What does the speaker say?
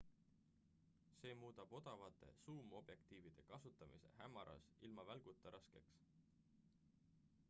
see muudab odavate suumobjektiivide kasutamise hämaras ilma välguta raskeks